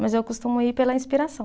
Mas eu costumo ir pela inspiração.